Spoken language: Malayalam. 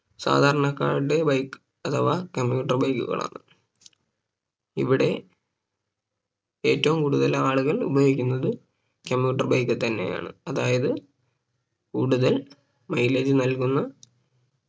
സാധാരണക്കാരുടെ Bike അഥവാ commuter bike കളാണ് ഇവിടെ ഏറ്റവും കൂടുതൽ ആളുകളെ ഉപായോഗിക്കുന്നത് commuter bike തന്നെയാണ് അതായത് കൂടുതൽ Mileage നൽകുന്ന